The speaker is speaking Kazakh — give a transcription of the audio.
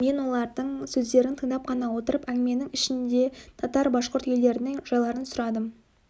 мен олардың сөздерін тыңдап қана отырып әңгіменің ішінде татар башқұрт елдерінің жайларын сұрадым